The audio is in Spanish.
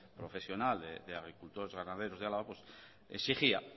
profesional de agricultores y ganaderos de álava exigía